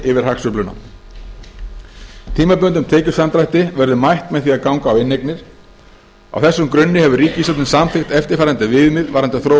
yfir hagsveifluna tímabundnum tekjusamdrætti verður mætt með því að ganga á inneignir á þessum grunni hefur ríkisstjórnin samþykkt eftirfarandi viðmið varðandi þróun